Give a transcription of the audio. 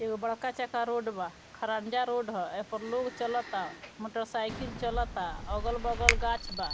एगो बड़का चा के रोड बा खड़ंजा रोड ह एह प लोग चलता मोटरसाइकिल चलता अगल-बगल गाछ बा।